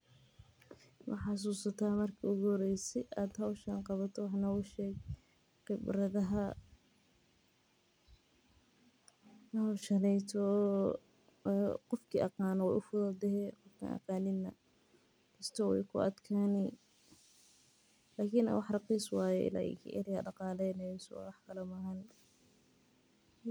Maxa susala marki ugu horwyse aa qawato hoshan wax noga sheg qibradhaha hoshan ninka kasayo wey ufududahay nika aqano wey ufududahay lakin ari ladaqaleynayo waye wax kale maaha.